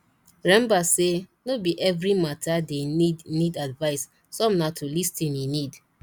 remmba sey no be evri mata dey nid nid advice som na to lis ten e need